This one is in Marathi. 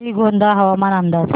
श्रीगोंदा हवामान अंदाज